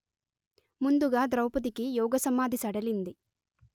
ముందుగా ద్రౌపదికి యోగసమాధి సడలింది